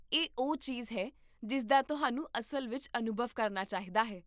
ਇਹ ਉਹ ਚੀਜ਼ ਹੈ ਜਿਸ ਦਾ ਤੁਹਾਨੂੰ ਅਸਲ ਵਿੱਚ ਅਨੁਭਵ ਕਰਨਾ ਚਾਹੀਦਾ ਹੈ